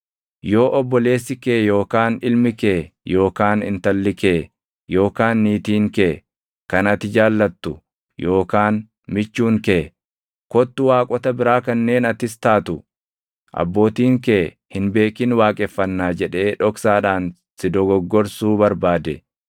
Yoo obboleessi kee yookaan ilmi kee yookaan intalli kee yookaan niitiin kee kan ati jaallattu yookaan michuun kee, “Kottu waaqota biraa kanneen atis taatu abbootiin kee hin beekin waaqeffannaa” jedhee dhoksaadhaan si dogoggorsuu barbaade,